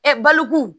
balokun